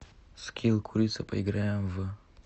скилл курица поиграем в